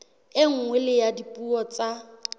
e nngwe ya dipuo tsa